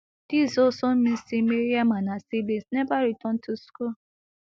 dis also mean say mariam and her siblings never return to school